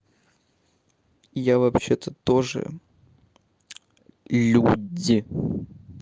я вообще-то тоже людь